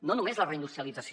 no només la reindustrialització